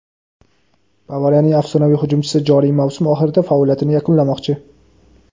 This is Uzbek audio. "Bavariya"ning afsonaviy hujumchisi joriy mavsum oxirida faoliyatini yakunlamoqchi;.